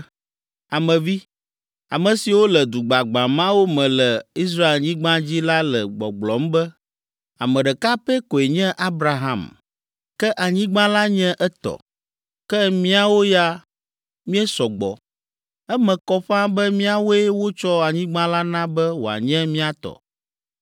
“Ame vi, ame siwo le du gbagbã mawo me le Israelnyigba dzi la le gbɔgblɔm be, ‘Ame ɖeka pɛ koe nye Abraham, ke anyigba la nye etɔ. Ke míawo ya, míesɔ gbɔ. Eme kɔ ƒãa be míawoe wotsɔ anyigba la na be wòanye mía tɔ.’